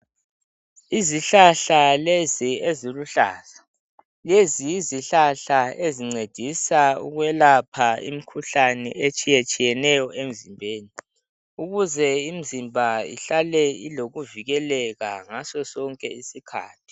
Izihlahla lezi eziluhlaza, lezi yizihlahla ezincedisa ukwelapha imikhuhlane etshiyetshiyeneyo emzimbeni, ukuze imizimba ihlale ilokuvikeleka ngaso sonke isikhathi.